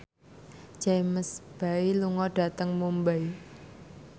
James Bay lunga dhateng Mumbai